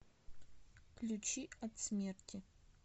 ключи от смерти